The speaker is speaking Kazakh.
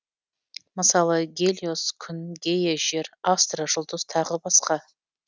мысалы гелиос күн гея жер астра жұлдыз тағы басқа